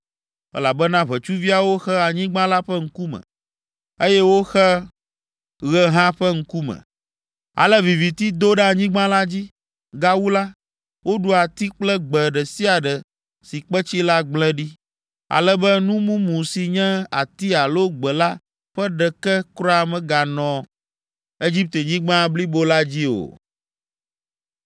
elabena ʋetsuviawo xe anyigba la ƒe ŋkume, eye woxe ɣe hã ƒe ŋkume; ale viviti do ɖe anyigba la dzi. Gawu la, woɖu ati kple gbe ɖe sia ɖe si kpetsi la gblẽ ɖi, ale be nu mumu si nye ati alo gbe la ƒe ɖeke kura meganɔ Egiptenyigba blibo la dzi o.